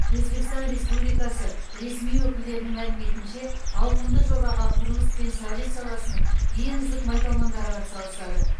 өзбекстан республикасы ресми өкілдерінің мәліметінше ауқымды жобаға құрылыс пен сәулет саласының ең үздік майталмандары атсалысады